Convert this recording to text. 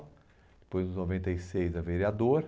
Depois, noventa e seis, a vereador.